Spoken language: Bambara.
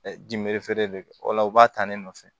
de o la u b'a ta ne nɔfɛ